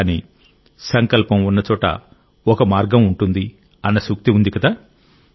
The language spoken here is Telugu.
కానీ సంకల్పం ఉన్నచోట ఒక మార్గం ఉంటుందిఅన్న సూక్తి ఉంది కదా